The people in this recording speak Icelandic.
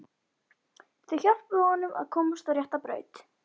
Þau hjálpuðu honum að komast á rétta braut.